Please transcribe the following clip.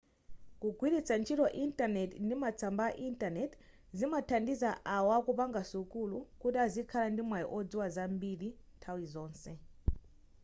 kugwilitsa ntchito intaneti ndi matsamba a intaneti zimathandiza awo akupanga sukulu kuti azikhala ndimwayi wodziwa zambiri nthawi iliyonse